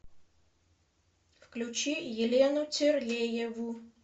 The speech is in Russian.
включи елену терлееву